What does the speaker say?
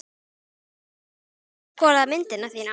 Hafa margir komið hingað til að skoða myndina þína?